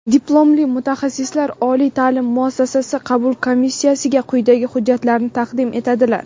diplomli mutaxassislar) oliy taʼlim muassasasi qabul komissiyasiga quyidagi hujjatlarni taqdim etadilar:.